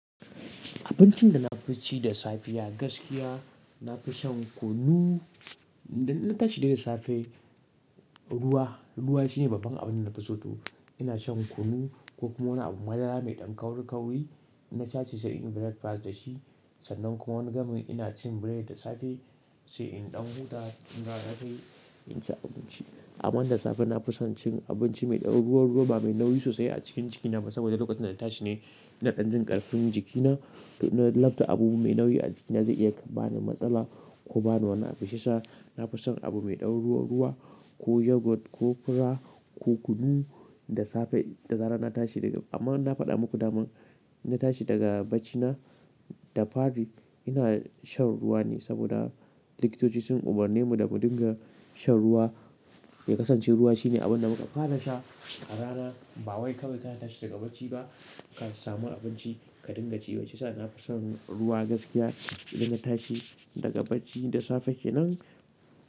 Abincin da na fi ci da safi ya gaskiya, na fi shan kunu. Ida na tashi daga safe, ruwa, ruwa shine babban abin da na fi so to. Ina shan kunu ko kuma wani abu ma dara mai ɗan kauri-kauri. Na sace sai in yi breakfast da shi. Sannan kuma wani gamin ina cin biredi da safe sai in ɗauko ta in fara har sai in ci abinci. Amma da safe na fi son cin abinci mai ɗau ruwa-ruwa ba mai nauyi sosai a cikin jikina saboda lokacin da na tashi ne na ɗan jin ƙarfin jikina. Na lab ta abu mai nauyi a jikina zai iya bani matsala ko ba ni wani abin shi isha. Na fi son abu mai ɗau ruwa-ruwa ko yogurt ko fura ko kunu dasafe da zarar natashi amma dai na fada muku daman inna tashi daga bacci da fari nakan sha ruwa saboda likitoci sun umarne mu da mu dinga shan ruwa. Mai kasancewar ruwa shine abin da muka fara sha rana. Bawai kawai kana tashi daga bacci ka samu abinci ba ka ringa ci ba shiyasa na fi son ruwa gaskiya idan na tashi daga bacci da safe kenan.